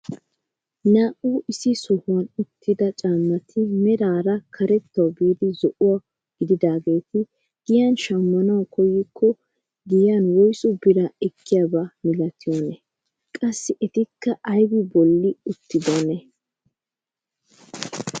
Naa"u issi sohuwaan uttida caammati meraara karettawu biida zo'o gididaageti giyaan shammanawu koyikko giyaan woysu biraa eekiyaaba milatiyoonaa? qassi etikka aybi bolli uttidonaa?